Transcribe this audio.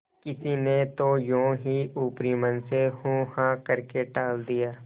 किसी ने तो यों ही ऊपरी मन से हूँहाँ करके टाल दिया